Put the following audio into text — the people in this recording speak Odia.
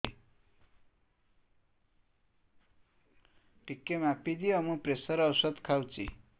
ଟିକେ ମାପିଦିଅ ମୁଁ ପ୍ରେସର ଔଷଧ ଖାଉଚି